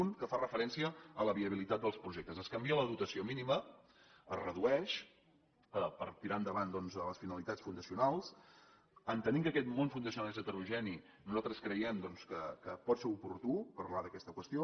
un que fa referència a la viabilitat dels projectes es canvia la dotació mínima es redueix per tirar endavant doncs les finalitats fundacionals entenent que aquest món fundacional és heterogeni nosaltres creiem doncs que pot ser oportú parlar d’aquesta qüestió